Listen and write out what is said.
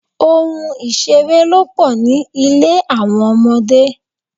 Ohun ìṣeré ló pò ní ilé àwọn ọmọdé.